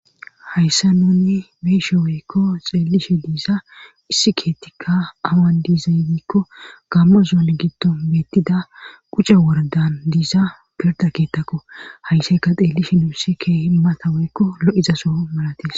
hayssa nuunni be7ishe woykko xeellishe de7iza issi keettikka awan diizaybiikko gammo zoone giddon beettida quce woredan diiza pirda keettakko hayssayka xeellishe nuusi keehi mata weykko lo7izaso malates